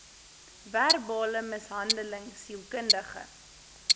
verbale mishandeling sielkundige